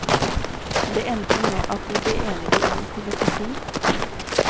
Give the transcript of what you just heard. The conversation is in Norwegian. Det endte med at vi ble enige om en filosofi.